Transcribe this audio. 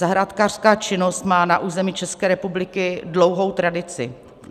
Zahrádkářská činnost má na území České republiky dlouhou tradici.